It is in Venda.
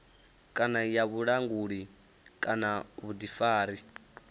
kana ya vhulanguli kana vhuḓifari